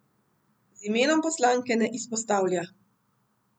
Z imenom poslanke ne izpostavlja.